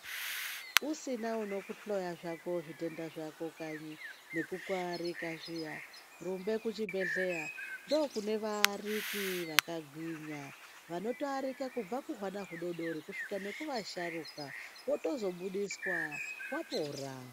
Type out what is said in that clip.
Usina unokuhloya zvako zvitenda zvako kanyi nekukuarika zviya rumbe kuchibhedhleya ndokune vaariki vakagwinya vanotoarika kubva kuhwana hudodori kusvika nekuasharuka wotozobudiswa wapora.